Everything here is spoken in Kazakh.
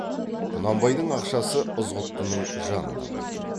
құнанбайдың ақшасы ызғұттының жанында болатын